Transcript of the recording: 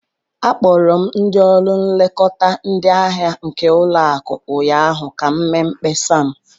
Akpọrọ m ndị ọrụ nlekọta ndị ahịa nke ụlọakụ ụnyaahụ ka m mee mkpesa m.